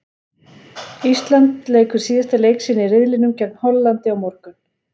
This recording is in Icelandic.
Ísland leikur síðasta leik sinn í riðlinum gegn Hollandi á morgun.